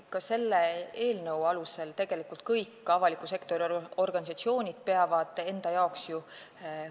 Ka selle eelnõu alusel peavad tegelikult kõik avaliku sektori organisatsioonid enda jaoks ju selle selgeks tegema.